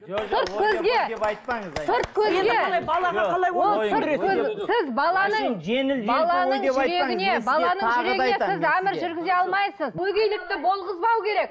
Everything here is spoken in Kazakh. әмір жүргізе алмайсыз өгейлікті болғызбау керек